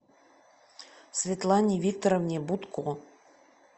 светлане викторовне бутко